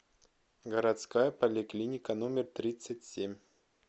городская поликлиника номер тридцать семь